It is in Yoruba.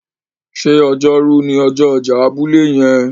ṣe Ọjọ́ Rú ni ọjọ ọjà abúlé yen?